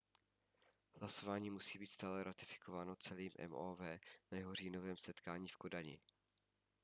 hlasování musí stále být ratifikováno celým mov na jeho říjnovém setkání v kodani